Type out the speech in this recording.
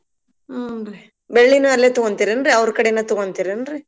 ಹೂನ್ರೀ ಬೆಳ್ಳಿನೂ ಅಲ್ಲೇ ತಗೋಂತೀರೇನ್ರಿ ಅವ್ರ್ ಕಡಿನ ತಗೊಂತಿರ್ ಏನ್ರೀ.